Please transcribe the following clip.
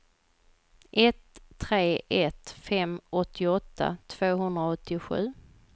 ett tre ett fem åttioåtta tvåhundraåttiosju